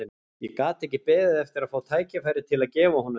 Ég gat ekki beðið eftir að fá tækifæri til að gefa honum þær.